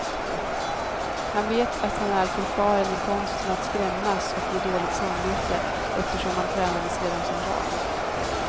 Han vet att han är förfaren i konsten att skrämmas och ge dåligt samvete, eftersom han tränades redan som barn.